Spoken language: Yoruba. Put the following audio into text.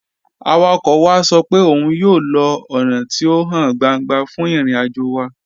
Awakọ̀ wa sọ pẹ̀ ọ́un yóò lọ ọ́na tí o háń gbàńgbà fún ìrìn-àjò wa.